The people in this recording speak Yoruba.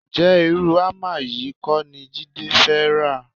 Ǹjẹ́ irú hámà yìí kọ́ ni Jídé fẹ́ rà?